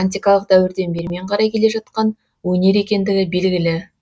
антикалық дәуірден бермен қарай келе жатқан өнер екендігі белгілі